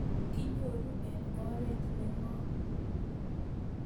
Kinyoru eng' oret ne ng'om